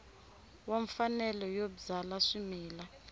wa mfanelo yo byala swimila